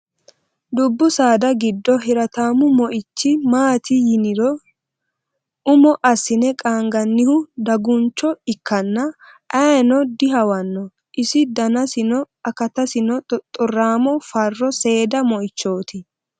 Dubbu saada giddo hirattamu moichi maati yiniro umo assine qaanganihu daguncho ikkanna ayeeno dihawano iso danasinna akatasi xoxoramo fa'ro seeda moichoti.